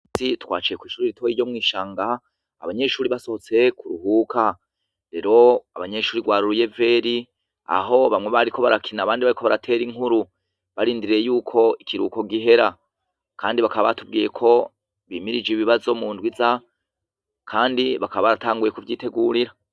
Zi twaciye kw'ishuri a itoye ryo mw'ishanga abanyeshuri basohotse ku ruhuka rero abanyeshuri rwaruruye veri aho bamwe bariko barakina abandi baiko baratera inkuru barindiriye yuko ikiruko gihera, kandi bakabatubwiye ko bimirije ibibazo mu ndwiza, kandi bakaba aratanguye ku vyitegurira.